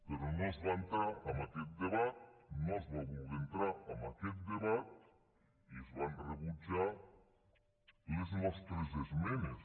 però no es va entrar en aquest debat no es va voler entrar en aquest debat i es van rebutjar les nostres esmenes